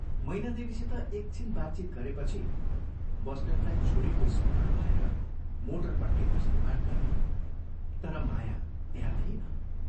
मैनादेवीसित एक छिन बातचीत गरेपछि बस्नेतलाई छोरीको स्मरण भएर मोटरपट्टि दृष्टिपात गरे तर माया त्यहाँ थिइन।